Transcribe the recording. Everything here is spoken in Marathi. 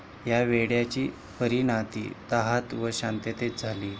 या वेड्याची परीनाती तहात व शांततेत झाली.